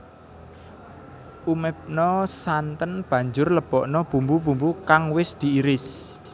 Umebna santen banjur lebokna bumbu bumbu kang wis diiris